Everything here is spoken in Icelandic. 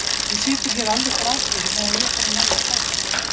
Þú situr hér alveg grafkyrr meðan ég fer og næ í strákinn minn.